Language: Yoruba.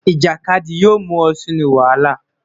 Ijakadi yoo mu ọ sinu wahala.